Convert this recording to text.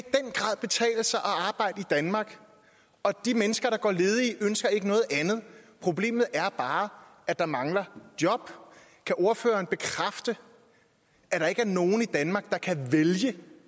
danmark og de mennesker der går ledige ønsker ikke noget andet problemet er bare at der mangler job kan ordføreren bekræfte at der ikke er nogen i danmark der kan vælge